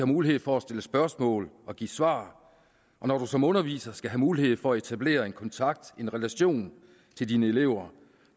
mulighed for at stille spørgsmål og give svar og når man som underviser skal have mulighed for at etablere en kontakt en relation til sine elever